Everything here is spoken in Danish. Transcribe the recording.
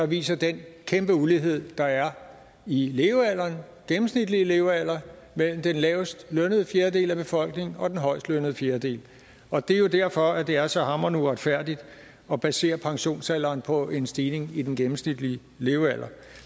viser den kæmpe ulighed der er i den gennemsnitlige levealder mellem den lavestlønnede fjerdedel af befolkningen og den højestlønnede fjerdedel og det er jo derfor det er så hamrende uretfærdigt at basere pensionsalderen på en stigning i den gennemsnitlige levealder